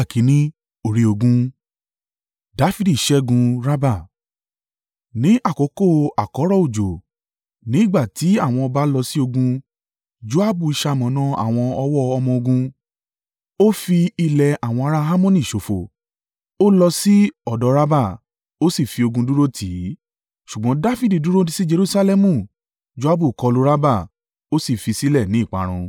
Ní àkókò àkọ́rọ̀ òjò, ni ìgbà tí àwọn ọba lọ sí ogun, Joabu ṣamọ̀nà àwọn ọ̀wọ́ ọmọ-ogun. Ó fi ilẹ̀ àwọn ará Ammoni ṣòfò. Ó lọ sí ọ̀dọ̀ Rabba. Ó sì fi ogun dúró tì í. Ṣùgbọ́n Dafidi dúró sí Jerusalẹmu Joabu kọlu Rabba, ó sì fi sílẹ̀ ní ìparun.